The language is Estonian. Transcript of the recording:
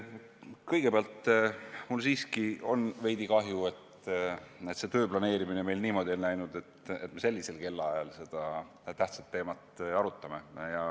Kõigepealt, mul siiski on veidi kahju, et see töö planeerimine meil niimoodi on läinud, et me sellisel kellaajal seda tähtsat teemat arutame.